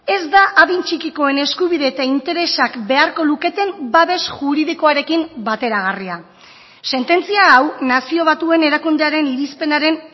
ez da adin txikikoen eskubide eta interesak beharko luketen babes juridikoarekin bateragarria sententzia hau nazio batuen erakundearen irizpenaren